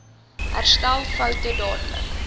herstel foute dadelik